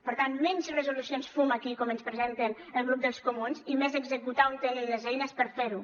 per tant menys resolucions fum aquí com ens presenten el grup dels comuns i més executar on tenen les eines per fer ho